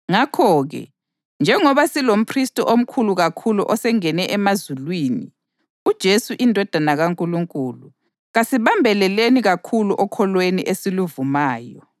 Ngakho-ke, njengoba silomphristi omkhulu kakhulu osengene emazulwini, uJesu iNdodana kaNkulunkulu, kasibambeleleni kakhulu okholweni esiluvumayo.